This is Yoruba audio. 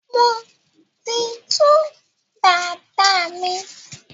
mọ tí tú Dàda mí.